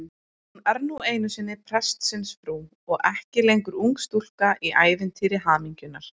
Hún er nú einu sinni prestsins frú og ekki lengur ung stúlka í ævintýri hamingjunnar.